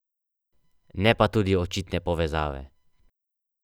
Ne pa tudi očitne povezave.